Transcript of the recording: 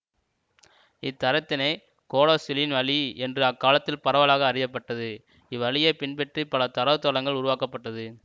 இத்தரத்தினை கோடாசிலின் வழி என்று அக்காலத்தில் பரவலாக அறிய பட்டது இவ்வழியைப் பின்பற்றி பல தரவுத்தளங்கள் உருவாக்கப்பட்டது